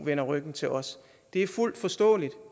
vender ryggen til os det er fuldt forståeligt